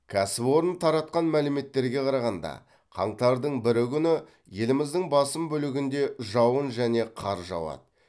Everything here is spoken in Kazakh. кәсіпорын таратқан мәліметтерге қарағанда қаңтардың бірі күні еліміздің басым бөлігінде жауын және қар жауады